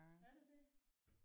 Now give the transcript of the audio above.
Er det det?